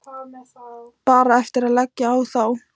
Bara eftir að leggja á þá.